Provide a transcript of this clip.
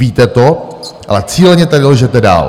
Víte to, ale cíleně tady lžete dál!